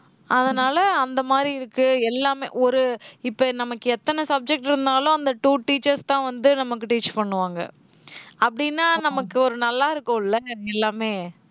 அதனால அந்த மாதிரி இருக்கு எல்லாமே. ஒரு, இப்ப நமக்கு எத்தனை subject இருந்தாலும் அந்த two teachers தான் வந்து நமக்கு teach பண்ணுவாங்க அப்படின்னா நமக்கு ஒரு நல்லா இருக்கும் எல்லாமே?